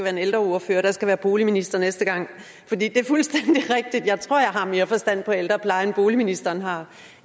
en ældreordfører der skal være boligminister næste gang for det er fuldstændig rigtigt at jeg tror jeg har mere forstand på ældrepleje end boligministeren har